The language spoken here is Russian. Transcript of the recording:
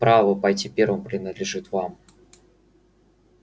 право пойти первым принадлежит вам